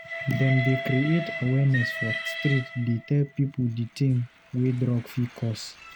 Dem dey create awareness for street dey tell pipu di tin wey drug fit cause.